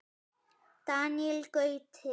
Daníel Gauti.